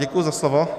Děkuji za slovo.